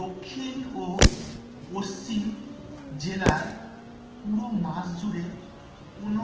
দক্ষিণ ও পশ্চিম জেলায় পুরো মাস জুড়ে কোন